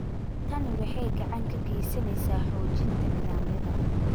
Tani waxay gacan ka geysaneysaa xoojinta nidaamyada.